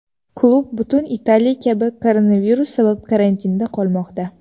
Klub butun Italiya kabi koronavirus sabab karantinda qolmoqda.